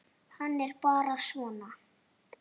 Hann er bara svona.